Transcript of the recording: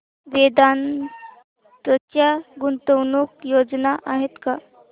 वेदांत च्या गुंतवणूक योजना आहेत का